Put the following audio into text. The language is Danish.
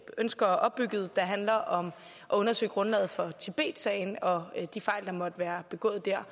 ønsker opbygget der handler om at undersøge grundlaget for tibetsagen og de fejl der måtte være begået dér